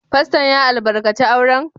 Fasto'n ya albarkace auren?